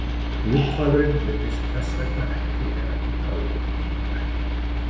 Búrhvalurinn virðist þess vegna ekki vera í bráðri útrýmingarhættu.